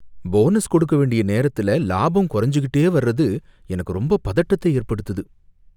Bonus கொடுக்க வேண்டிய நேரத்தத்துல லாபம் கொறஞ்சிக்கிட்டே வர்றது எனக்கு ரொம்ப பதட்டத்தை ஏற்படுத்துது.